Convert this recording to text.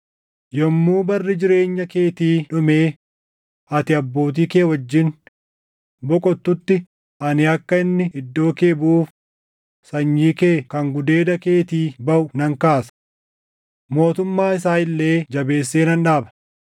yommuu barri jireenya keetii dhumee ati abbootii kee wajjin boqottutti ani akka inni iddoo kee buʼuuf sanyii kee kan gudeeda keetii baʼu nan kaasa; mootummaa isaa illee jabeessee nan dhaaba.